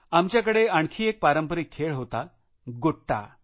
आमच्याकडे आणखी एक पारंपरिक खेळ होतागोट्या